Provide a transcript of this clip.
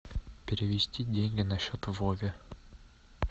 перевести деньги на счет вове